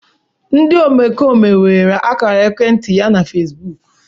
Ndị omekome weere ákàrà ekwentị ya na Fesbụụk.